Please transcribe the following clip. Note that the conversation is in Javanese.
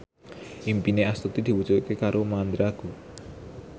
impine Astuti diwujudke karo Mandra